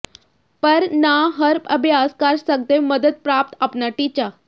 ਪਰ ਨਾ ਹਰ ਅਭਿਆਸ ਕਰ ਸਕਦੇ ਮਦਦ ਪ੍ਰਾਪਤ ਆਪਣਾ ਟੀਚਾ